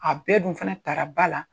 A bɛɛ dun fana taara ba la